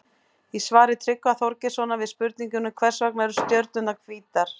Í svari Tryggva Þorgeirssonar við spurningunni Hvers vegna eru stjörnurnar hvítar?